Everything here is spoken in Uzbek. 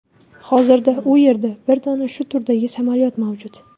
Hozirda u yerda bir dona shu turdagi samolyot mavjud.